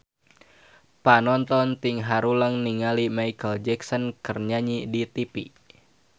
Panonton ting haruleng ningali Micheal Jackson keur nyanyi di tipi